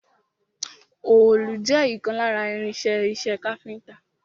Òòlù jẹ́ ìkan lára irin-iṣẹ́ iṣẹ́ káfíńńtà.